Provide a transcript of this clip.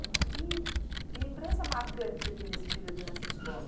E que lembrança marcante você tem desse período nessa escola?